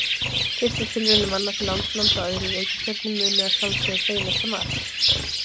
Fyrstu tilraunir manna til landnáms á öðrum reikistjörnum munu að sjálfsögðu beinast að Mars.